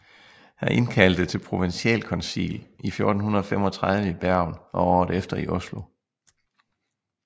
Han indkaldte til provensialkoncil i 1435 i Bergen og året efter i Oslo